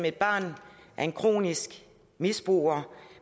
et barn af en kronisk misbruger